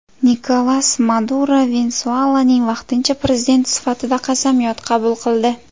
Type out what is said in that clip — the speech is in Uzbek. Nikolas Maduro Venesuelaning vaqtincha prezidenti sifatida qasamyod qabul qildi.